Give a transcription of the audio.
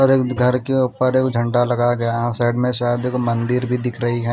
और घर के ऊपर एक झंडा लगाया गया है साइड में शायद एक मंदिर भी दिख रही है।